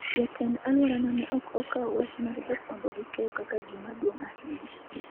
Jatend alworano ne ok okawo wach mar jofwambo gi keyo kaka gima duong' ahinya.